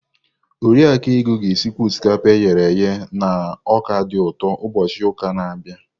Oriakụ Ego ga-esikwa osikapa e ghere eghe na ọka dị ụtọ ụbọchị ụka na-abịa.